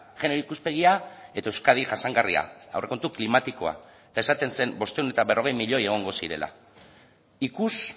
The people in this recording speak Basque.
genero ikuspegia eta euskadi jasangarria aurrekontu klimatikoa eta esaten zen bostehun eta berrogei milioi egongo zirela ikus